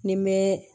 Ni n bɛ